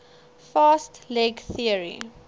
fast leg theory